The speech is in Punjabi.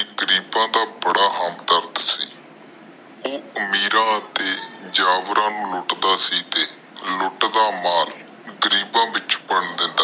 ਗਰੀਬਾ ਦਾ ਬੜਾ ਹਮਦਰਦ ਸੀ। ਉਹ ਅਮੀਰਾਂ ਤੇ ਨੂੰ ਲੁੱਟਦਾ ਸੀ ਤੇ ਲੁੱਟ ਦਾ ਮਾਲ ਗਰੀਬਾਂ ਵਿੱਚੋ ਵੰਡ ਦਿੰਦਾ।